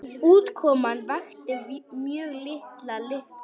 Útkoman vakti mjög mikla lukku.